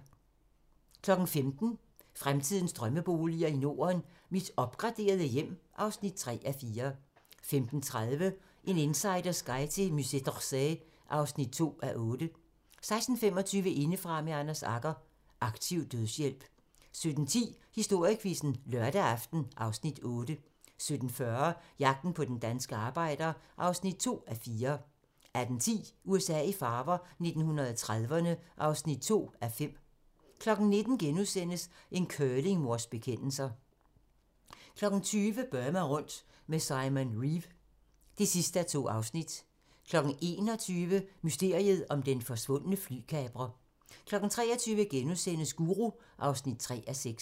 15:00: Fremtidens drømmeboliger i Norden: Mit opgraderede hjem (3:4) 15:30: En insiders guide til Musée d'Orsay (2:8) 16:25: Indefra med Anders Agger – Aktiv dødshjælp 17:10: Historiequizzen: Lørdag aften (Afs. 8) 17:40: Jagten på den danske arbejder (2:4) 18:10: USA i farver - 1930'erne (2:5) 19:00: En curlingmors bekendelser * 20:00: Burma rundt med Simon Reeve (2:2) 21:00: Mysteriet om den forsvundne flykaprer 23:00: Guru (3:6)*